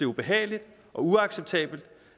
ubehageligt og uacceptabelt